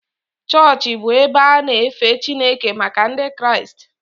Chọọchị bụ ebe a na-efe Chineke maka Ndị Kraịst